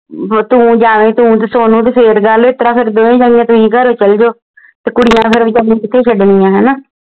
ਤੂੰ ਜਾਵੀਂ ਤੂੰ ਤੇ ਸੋਨੂ ਤੇ ਫੇਰ ਗੱਲ ਤੁਸੀਂ ਘਰੋਂ ਚੱਲ ਜੋ ਤੇ ਕੁੜੀਆਂ ਫੇਰ ਵਿਚਾਰੀ ਕਿਥੇ ਛੱਡਣੀਆਂ ਹਣਾ